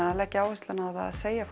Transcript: að leggja áhersluna á að segja